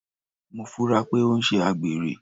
Mo funra pé o n sé àgbèrè